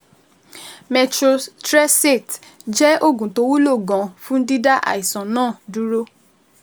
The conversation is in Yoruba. Methotrexate jẹ́ oògùn tó wúlò gan-an fún dídá àìsàn náà dúró